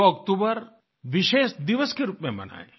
2 अक्टूबर विशेष दिवस के रूप में मनायें